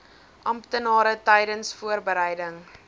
amptenare tydens voorbereiding